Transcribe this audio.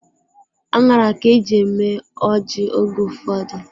Aṅara ka eji eme ọjị oge ụfọdụ.